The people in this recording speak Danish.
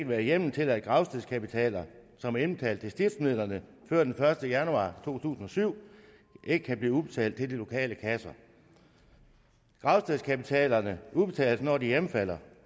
være hjemmel til at gravstedskapitaler som er indbetalt til stiftsmidlerne før den første januar to tusind og syv kan blive udbetalt til de lokale kasser gravstedskapitalerne udbetales når de hjemfalder